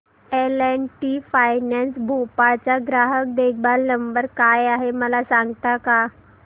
L and T finance Bhopal चा ग्राहक देखभाल नंबर काय आहे मला सांगता का